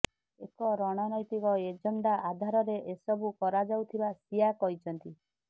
ଏକ ରଣନୈତିକ ଏଜେଣ୍ଡା ଆଧାରରେ ଏସବୁ କରାଯାଉଥିବା ସିଆ କହିଛନ୍ତି